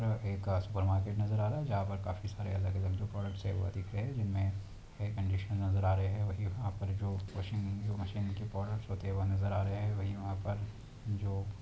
एक super market नजर आ रहा है जहा पर काफी सारे अलग अलग जो प्रोडक्ट हे वो दिख रहे है जिनमे हेयर कन्डिशनर नजर आ रहे है वही पर जो वाशिंग जो मशीन की प्रोडक्ट होते है वो नजर आ रहे है वही वहा पर जो --